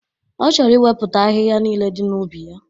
Ọ chọrọ iwepụcha ahịhịa niile dị n'ubi ya.